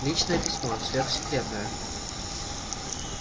личное письмо сверхсекретное